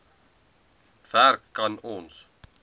werk kan ons